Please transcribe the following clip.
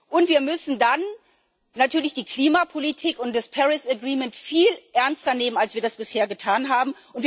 Und wir müssen dann natürlich die Klimapolitik und das Paris Agreement viel ernster nehmen, als wir das bisher getan haben.